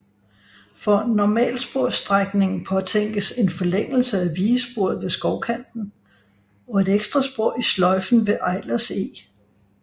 For normalsporsstrækningen påtænkes en forlængelse af vigesporet ved Skovkanten og et ekstra spor i sløjfen ved Eilers Eg